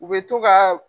U bɛ to ka